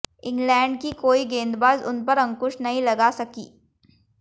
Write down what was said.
England की कोई गेंदबाज उन पर अंकुश नहीं लगा सकी